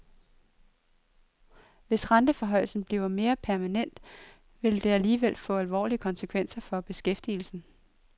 Hvis renteforhøjelsen bliver mere permanent, vil det alligevel få alvorlige konsekvenser for beskæftigelsen.